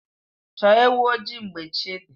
Chọọ ewu ojii mgbe chi dị